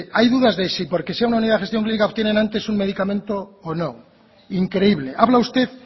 hay dudas de si porque sea una unidad de gestión clínica obtienen antes un medicamente o no increíble habla usted